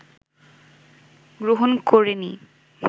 গ্রহণ করে নি